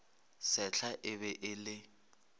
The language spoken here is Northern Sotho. sehla e be e le